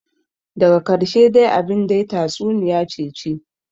Daga karshe dai abin dai tatsuniyace ce,